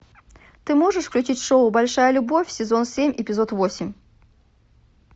ты можешь включить шоу большая любовь сезон семь эпизод восемь